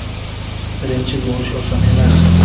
Birinchi bo‘lish oson emas.